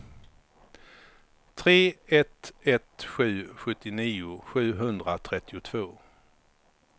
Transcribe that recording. tre ett ett sju sjuttionio sjuhundratrettiotvå